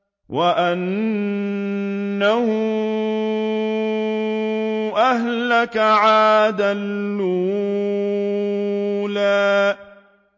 وَأَنَّهُ أَهْلَكَ عَادًا الْأُولَىٰ